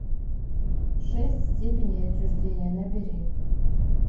шесть степеней отчуждения набери